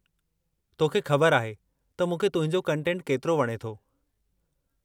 तोखे ख़बर आहे त मूंखे तुंहिंजो कंटेटु केतिरो वणे थो।